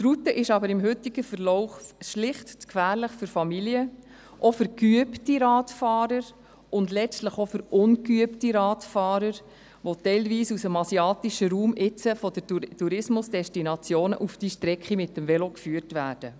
Die Route ist jedoch mit dem heutigen Verlauf schlicht zu gefährlich für Familien, auch für geübte und sowieso für ungeübte Radfahrer, die teilweise aus dem asiatischen Raum von den Tourismusdestinationen mit dem Velo auf diese Strecke geführt werden.